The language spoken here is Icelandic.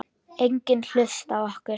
Enginn hlusta á okkur.